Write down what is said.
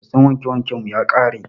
Soson wanke wanken mu ya ƙare.